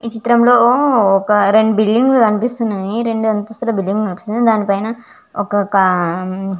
ఈ చిత్రం లో ఒక రెండు బిల్డింగ్ లు కనిపిస్తున్నాయ్ రెండు అంతస్తుల బిల్డింగ్ కనిపిస్తుంది దానిపైన ఒక --